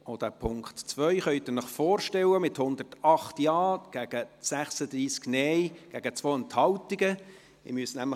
Wie Sie sich vorstellen können, ist auch der Punkt 2 angenommen, mit 108 Ja- gegen 36 Nein-Stimmen bei 2 Enthaltungen.